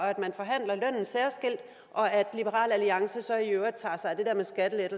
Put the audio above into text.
og at at liberal alliance så i øvrigt tager